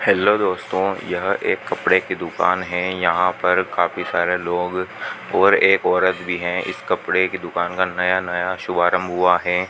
Hello दोस्तों यह एक कपड़े की दुकान है यहां पर काफी सारे लोग और एक औरत भी हैं इस कपड़े की दुकान का नया नया शुभारंभ हुआ है।